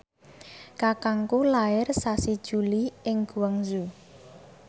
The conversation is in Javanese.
kakangku lair sasi Juli ing Guangzhou